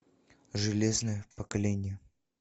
железное поколение